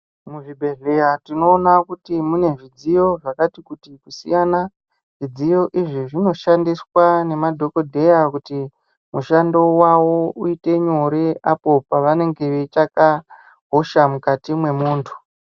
Muzvibhehleya tinoona kuti mune zvidziyo zvakati kuti kusiyana. Zvidziyo izvi zvinoshandiswa nemadhogodheya kuti mushando wavo uite nyore apo pavanenge veitsvaka hosha mukati mwemuntu.